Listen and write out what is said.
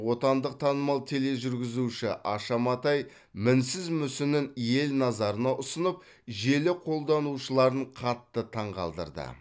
отандық танымал тележүргізуші аша матай мінсіз мүсінін ел назарына ұсынып желі қолданушыларын қатты таңғалдырды